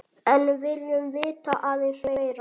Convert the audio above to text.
En viljum vita aðeins meira.